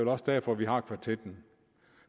også derfor vi har kvartetten